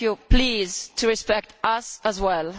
Please respect us as well.